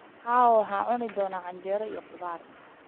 Cawaa waxaan cuni doonaa canjeero iyo khudaar.